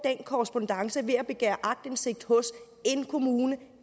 korrespondance ved at begære aktindsigt hos en kommune